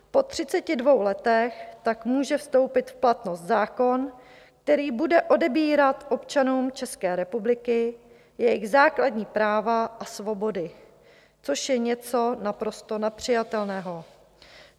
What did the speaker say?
Po 32 letech tak může vstoupit v platnost zákon, který bude odebírat občanům České republiky jejich základní práva a svobody, což je něco naprosto nepřijatelného.